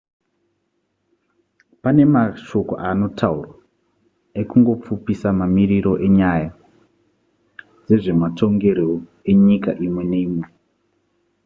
pane mashoko anotaurwa ekungopfupisa mamiriro enyaya dzezvematongerwo enyika imwe neimwe